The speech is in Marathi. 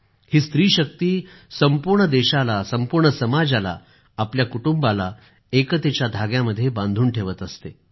ही स्त्री शक्ती संपूर्ण देशाला संपूर्ण समाजाला आपल्या कुटुंबाला एकतेच्या धाग्यामध्ये बांधून ठेवत असते